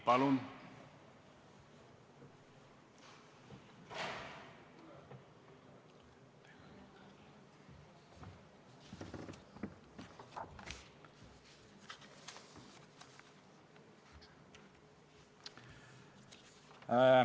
Palun!